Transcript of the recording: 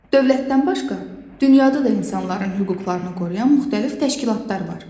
Dövlətdən başqa dünyada da insanların hüquqlarını qoruyan müxtəlif təşkilatlar var.